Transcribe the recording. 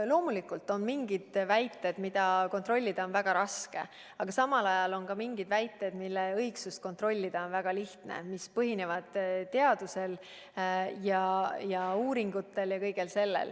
Loomulikult on mingid väited, mida kontrollida on väga raske, aga samal ajal on ka mingid väited, mille õigsust kontrollida on väga lihtne, mis põhinevad teadusel ja uuringutel.